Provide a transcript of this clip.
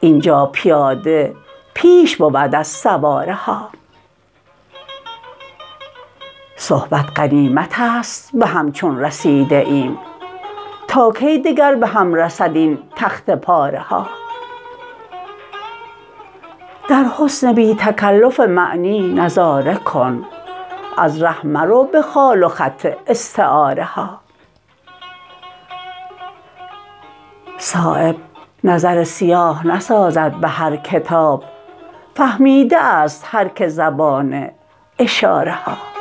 اینجا پیاده پیش بود از سواره ها صحبت غنیمت است به هم چون رسیده ایم تا کی دگر به هم رسد این تخته پاره ها در حسن بی تکلف معنی نظاره کن از ره مرو به خال و خط استعاره ها صایب نظر سیاه نسازد به هر کتاب فهمیده است هر که زبان اشاره ها